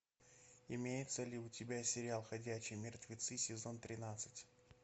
имеется ли у тебя сериал ходячие мертвецы сезон тринадцать